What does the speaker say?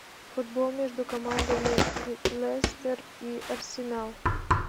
футбол между командами лестер и арсенал